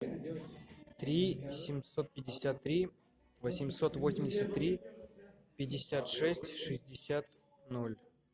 три семьсот пятьдесят три восемьсот восемьдесят три пятьдесят шесть шестьдесят ноль